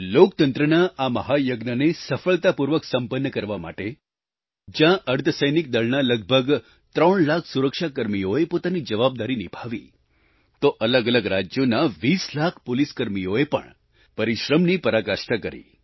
લોકતંત્રના આ મહાયજ્ઞને સફળતાપૂર્વક સંપન્ન કરાવવા માટે જ્યાં અર્ધસૈનિક દળના લગભગ 3 લાખ સુરક્ષાકર્મીઓએ પોતાની જવાબદારી નિભાવી તો અલગઅલગ રાજ્યોના 20 લાખ પોલીસકર્મીઓએ પણ પરિશ્રમની પરાકાષ્ઠા કરી